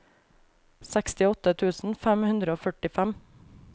sekstiåtte tusen fem hundre og førtifem